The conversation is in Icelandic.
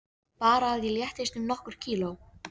Bara að ég léttist um nokkur kíló!